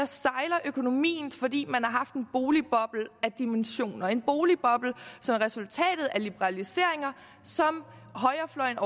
sejler økonomien fordi man har haft en boligboble af dimensioner en boligboble som er resultatet af liberaliseringer som højrefløjen